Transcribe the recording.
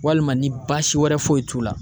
Walima ni baasi wɛrɛ foyi t'u la.